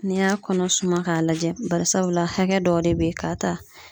N'i y'a kɔnɔ suma k'a lajɛ barisabula hakɛ dɔw de be yen k'a ta